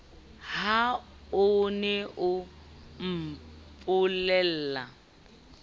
ha o ne o mpolella